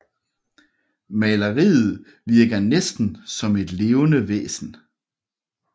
Maleriet virker næsten som et levende væsen